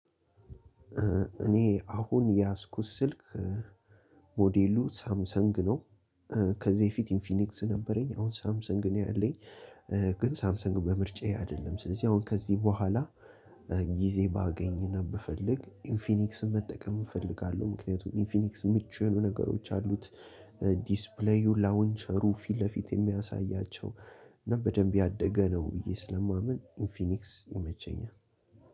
እኔ አሁን የያዝኩት ስልክ ሞዴሉ ሳምሰንግ ነው። እ ከዚህ በፊት ኢንፊኒክስ ነበረኝ አሁን ሳምሰንግ ነው ያለኝ። እ ግን ሳምሰንግ በምርጫዬ አይደለም። ስለዚህ አሁን ከዚህ በኋላ እ ጊዜ ባገኝና ብፈልግ ኢንፊኒክስን መጠቀም እፈልጋለሁ። ምክንያቱም ኢንፊኒክስ ምቹ የሆኑ ነገሮች አሉት። እ ዲስፕሌዩ ላውንቸሩ ፊት ለፊት የሚያሳያቸው እና በደንብ ያደገ ነው ብዬ ስለማምን ኢንፊኒክስ ይመቸኛል።